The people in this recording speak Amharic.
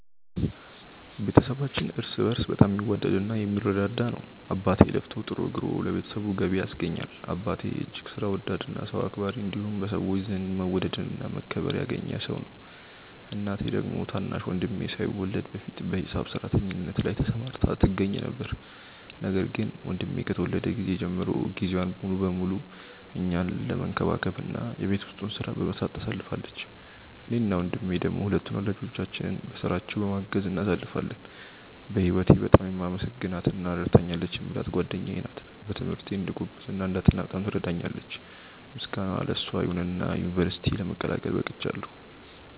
ቤተሰባችን እርስ በእርስ በጣም የሚዋደድ እና የሚረዳዳ ነው። አባቴ ለፍቶ ጥሮ ግሮ ለቤተሰቡ ገቢ ያስገኛል። አባቴ እጅግ ሥራ ወዳድ እና ሰው አክባሪ እንዲሁም በሰዎች ዘንድ መወደድን እና መከበርን ያገኘ ሰው ነው። እናቴ ደግሞ ታናሽ ወንድሜ ሳይወለድ በፊት በሂሳብ ሰራተኝነት ላይ ተሰማርታ ትገኛ ነበር፤ ነገር ግን ወንድሜ ከተወለደ ጊዜ ጀምሮ ጊዜዋን ሙሉ ለሙሉ እኛን መንከባከብ እና የቤት ውስጡን ሥራ በመስራት ታሳልፋለች። እኔ እና ወንድሜ ደሞ ሁለቱን ወላጆቻችንን በሥራቸው በማገዝ እናሳልፋለን። በህወቴ በጣም የማመሰግናት እና ረድታኛለች የምላት ጓደኛዬ ናት። በትምህርቴ እንድጎብዝ እና እንዳጠና በጣም ትረዳኛለች። ምስጋና ለሷ ይሁንና ዩንቨርስቲ ለመቀላቀል በቅቻለው።